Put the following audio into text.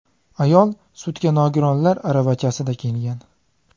Ayol sudga nogironlar aravachasida kelgan.